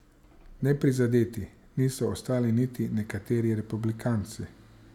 Neprizadeti niso ostali niti nekateri republikanci.